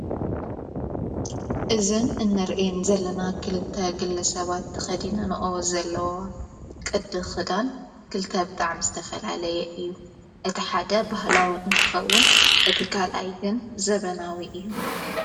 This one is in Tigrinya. እዝን እነርአም ዘለና ክልተ ግለ ሰባት ተኸዲነንኦ ዘለዋ ቅድ ኽዳን ክልተ ኣብጥዕ ምስ ተፈልለየ እዩ እቲ ሓደ ባህላው እንትኸውን እቲ ካልኣይግን ዘበናዊ እዩ።